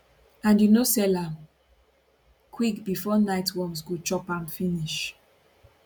and you no sell am quick bifor night worms go chop am finish